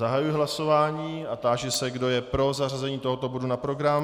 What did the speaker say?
Zahajuji hlasování a táži se, kdo je pro zařazení tohoto bodu na program.